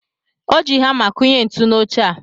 O ji hamá kụnye ntu n'oche a.